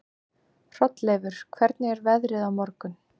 Hrolleifur, hvernig er veðrið á morgun?